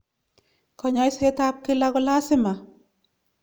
kanyaishet ap kila kolasima